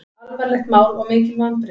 Alvarlegt mál og mikil vonbrigði